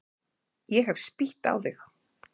Ég hef spýtt á þig.